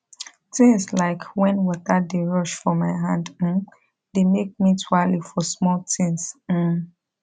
things like wen water dey rush for my hand um dey make me tuale for small things um